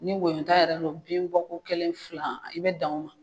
Ni woyota yɛrɛ do bin Bɔko kelen fila i be dan o ma